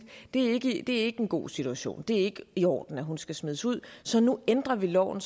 er ikke en god situation det er ikke i orden at hun skal smides ud så nu ændrer vi loven